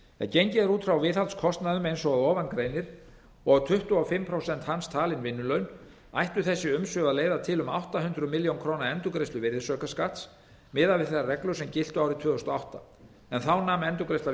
gengið er út frá viðhaldskostnaðinum eins og að ofan greinir og tuttugu og fimm prósent hans talin vinnulaun ættu þessi umsvif að leiða til um átta hundruð milljóna króna endurgreiðslu virðisaukaskatts miðað við þær reglur sem giltu árið tvö þúsund og átta en endurgreiðsla